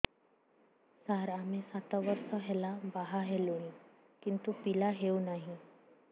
ସାର ଆମେ ସାତ ବର୍ଷ ହେଲା ବାହା ହେଲୁଣି କିନ୍ତୁ ପିଲା ହେଉନାହିଁ